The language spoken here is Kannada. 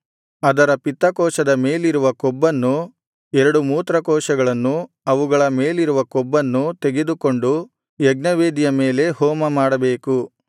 ಅದರ ಪಿತ್ತಕೋಶದ ಮೇಲಿರುವ ಕೊಬ್ಬನ್ನೂ ಎರಡು ಮೂತ್ರಕೋಶಗಳನ್ನೂ ಅವುಗಳ ಮೇಲಿರುವ ಕೊಬ್ಬನ್ನೂ ತೆಗೆದುಕೊಂಡು ಯಜ್ಞವೇದಿಯ ಮೇಲೆ ಹೋಮ ಮಾಡಬೇಕು